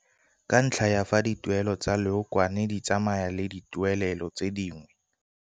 Ka ntlha ya fa dituelelo tsa leokwane di tsamaya le dituelelo tse dingwe